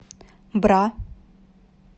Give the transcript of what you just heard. бра